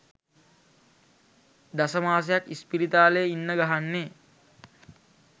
දස මාසයක් ඉස්පිරිතාලේ ඉන්න ගහන්නේ